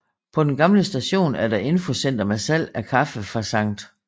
På den gamle station er der infocenter med salg af kaffe fra Skt